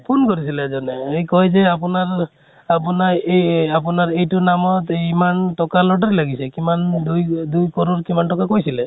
phone কৰিছিলে এজনে, সি কয় যে আপোনাৰ এই আপোনাৰ এইটো নামত ইমান টকা lottery লাগিছে । কিমান ? দুই দুই core ৰ কিমান টকা কৈছিলে ।